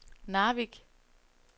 Narvik